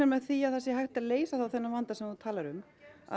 með því að það sé hægt að leysa þennan vanda sem þú talar um